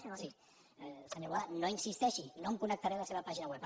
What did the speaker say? senyor boada no hi insisteixi no em connectaré a la seva pàgina web